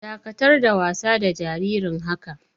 Dakatar da wasa da jariri haka!